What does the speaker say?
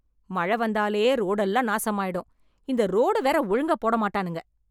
மழ வந்தாலே ரோடு எல்லாம் நாசமாயிடும், இந்த ரோடு வேற ஒழுங்கா போட மாட்டானுங்க.